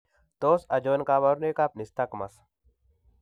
Tos achon kabarunaik ab Nystagmus